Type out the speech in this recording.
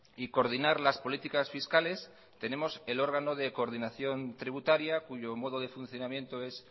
y coordinar las políticas fiscales tenemos el órgano de coordinación tributaria cuyo modo de funcionamiento es